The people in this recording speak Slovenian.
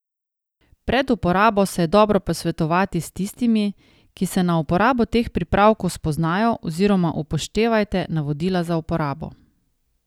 Pred uporabo se je dobro posvetovati s tistimi, ki se na uporabo teh pripravkov spoznajo oziroma upoštevajte navodila za uporabo.